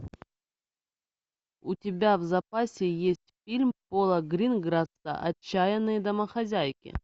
у тебя в запасе есть фильм пола грингерса отчаянные домохозяйки